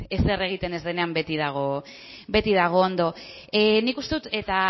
ezer egiten ez denean beti dago ondo nik uste dut eta